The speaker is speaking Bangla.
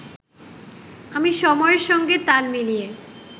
আমি সময়ের সঙ্গে তাল মিলিয়ে